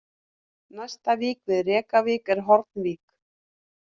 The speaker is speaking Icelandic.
Næsta vík við Rekavík er Hornvík